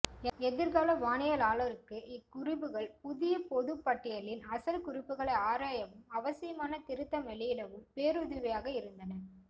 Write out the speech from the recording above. எதிர்கால வானியலாருக்கு இக்குறிப்புகள் புதிய பொதுப் பட்டியலின் அசல் குறிப்புகளை ஆராயவும் அவசியமான திருத்தம் வெளியிடவும் பேருதவியாக இருந்தன